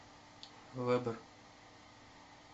вэбэр